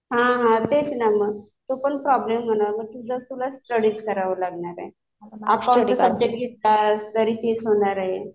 हा हा. तेच ना मग. तो पण प्रॉब्लेम होणार. तुझं तुलाच स्टडी करावी लागेल. अकाउंट जर सब्जेक्ट घेतला तरी तेच होणार आहे.